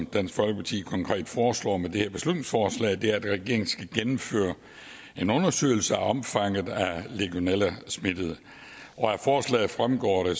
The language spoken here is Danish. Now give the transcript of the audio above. dansk folkeparti konkret foreslår med det her beslutningsforslag er at regeringen skal gennemføre en undersøgelse af omfanget af legionellasmittede og af forslaget fremgår det